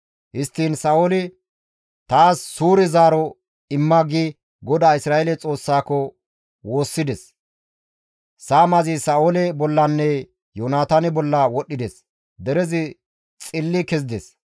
Histtiin Sa7ooli, «Taas suure zaaro imma» gi GODAA Isra7eele Xoossaako woossides; saamazi Sa7oole bollanne Yoonataane bolla wodhdhides; derezi xilli kezides.